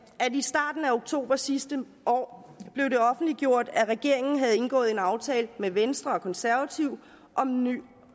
at i starten af oktober sidste år blev det offentliggjort at regeringen havde indgået en aftale med venstre og konservative om en ny